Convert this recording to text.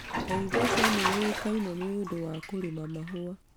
Naivasha nĩ ĩũĩkaine nĩ ũndũ wa kũrĩma mahũa.